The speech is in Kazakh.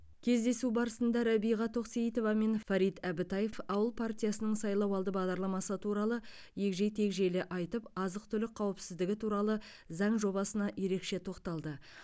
кездесу барысында рәбиға тоқсейітова мен фарид әбітаев ауыл партиясының сайлауалды бағдарламасы туралы егжей тегжейлі айтып азық түлік қауіпсіздігі туралы заң жобасына ерекше тоқталды